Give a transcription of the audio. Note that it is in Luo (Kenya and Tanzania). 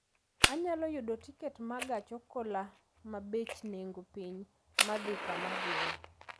Anyalo yudo tiket ma gach okolomabech nengo piny ma dhi kama adhie